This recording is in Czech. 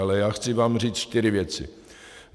Ale já vám chci říct čtyři věci.